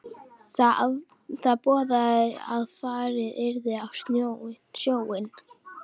Það boðaði að farið yrði á sjóinn.